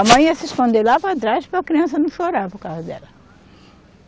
A mãe ia se esconder lá para trás para a criança não chorar por causa dela.